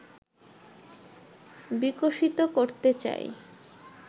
বিকশিত করতে চাই